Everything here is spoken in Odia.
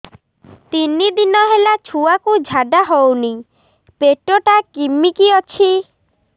ତିନି ଦିନ ହେଲା ଛୁଆକୁ ଝାଡ଼ା ହଉନି ପେଟ ଟା କିମି କି ଅଛି